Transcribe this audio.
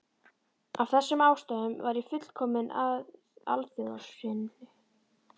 Af þessum ástæðum var ég fullkominn alþjóðasinni.